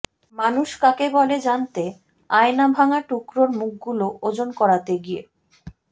মানুষ কাকে বলে জানতে আয়নাভাঙা টুকরোর মুখগুলো ওজন করাতে গিয়ে